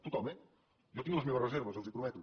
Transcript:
tothom eh jo tinc les meves reserves els ho prometo